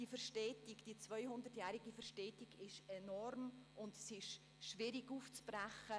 Sie sehen, die 200-jährige Verbindung ist enorm und schwierig aufzubrechen.